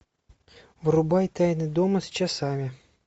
врубай тайна дома с часами